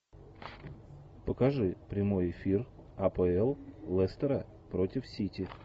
покажи прямой эфир апл лестера против сити